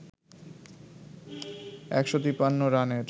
১৫৩ রানের